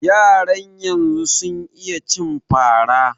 Yaran yanzu sun iya cin fara